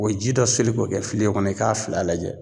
O ji dɔ seli k'o kɛ filen kɔnɔ i k'a fila lajɛ